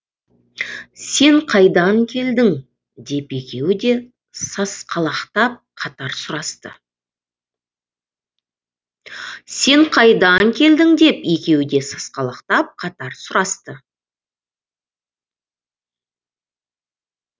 сен қайдан келдің деп екеуі де сасқалақтап қатар сұрасты